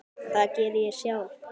Það geri ég sjálf.